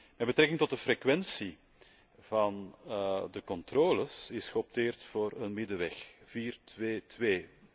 Met betrekking tot de frequentie van de controles is geopteerd voor een middenweg vier twee twee.